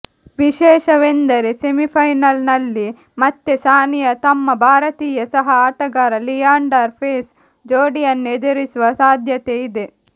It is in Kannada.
ವಿಶೇಷವೆಂದರೆ ಸೆಮಿಫೈನಲ್ ನಲ್ಲಿ ಮತ್ತೆ ಸಾನಿಯಾ ತಮ್ಮ ಭಾರತೀಯ ಸಹ ಆಟಗಾರ ಲಿಯಾಂಡರ್ ಪೇಸ್ ಜೋಡಿಯನ್ನು ಎದುರಿಸುವ ಸಾಧ್ಯತೆಯಿದೆ